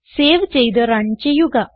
save ചെയ്ത് run ചെയ്യുക